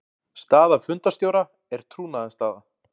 Staða fundarstjóra er trúnaðarstaða.